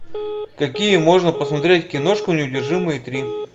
какие можно посмотреть киношку неудержимые три